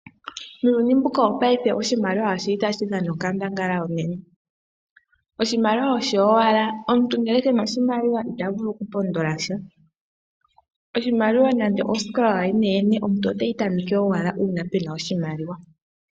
Muuyuni mbuka wopaife oshimaliwa oshili tashi dhana onkandangala onene. Oshimaliwa osho owala, omuntu ngele ke na oshimaliwa ita vulu okupondola sha. Oshimaliwa nande osikola yooyene yene, omuntu oteyi tameke owala uuna pena oshimaliwa.